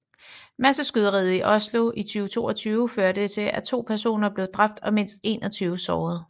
Masseskyderiet i Oslo i 2022 førte til at to personer blev dræbt og mindst 21 sårede